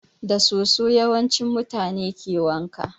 Da soso yawanci mutane ke wanka